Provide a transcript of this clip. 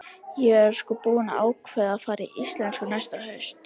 Ég er sko búin að ákveða að fara í íslensku næsta haust.